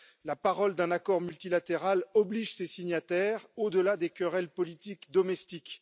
La parole d'un accord multilatéral oblige ses signataires, au delà des querelles politiques domestiques.